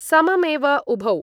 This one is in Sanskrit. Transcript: सममेव उभौ